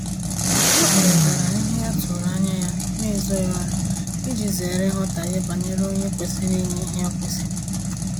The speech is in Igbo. Ha kparitara ihe atụrụ anya ya n'ezoghi ọnụ iji zere nghọtaghe banyere onye kwesịrị inye ihe o kwesiri